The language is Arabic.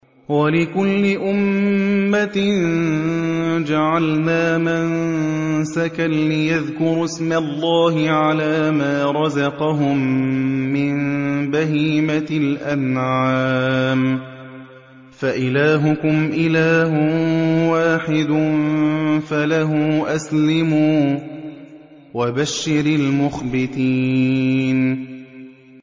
وَلِكُلِّ أُمَّةٍ جَعَلْنَا مَنسَكًا لِّيَذْكُرُوا اسْمَ اللَّهِ عَلَىٰ مَا رَزَقَهُم مِّن بَهِيمَةِ الْأَنْعَامِ ۗ فَإِلَٰهُكُمْ إِلَٰهٌ وَاحِدٌ فَلَهُ أَسْلِمُوا ۗ وَبَشِّرِ الْمُخْبِتِينَ